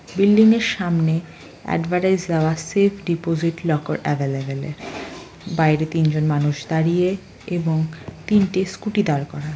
Building সামনে advertise দেওয়া safe deposit locker available বাইরে তিনজন মানুষ দাঁড়িয়ে এবং তিনটি স্কুটি দাঁড় করানো।